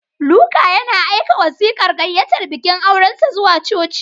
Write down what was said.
Luka yana aika wasiƙar gayyatar bikin aurensa zuwa coci.